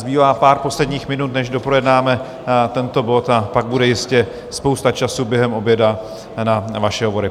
Zbývá pár posledních minut, než doprojednáme tento bod, a pak bude jistě spousta času během oběda na vaše hovory.